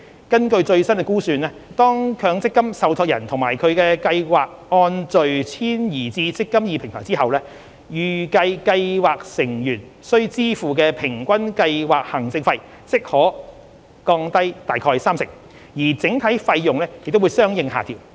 根據最新估算，當強積金受託人及其計劃按序遷移至"積金易"平台後，預期計劃成員需支付的平均計劃行政費即可降低約三成，而整體費用也會相應下調。